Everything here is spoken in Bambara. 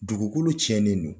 Dugukolo tiɲɛnen don